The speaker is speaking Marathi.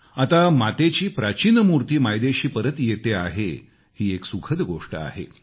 आता मातेची प्राचीन मूर्ती मायदेशी परत येतेय ही एक सुखद गोष्ट आहे